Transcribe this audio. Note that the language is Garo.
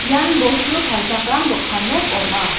ian bostu palchakram dokan nok ong·a.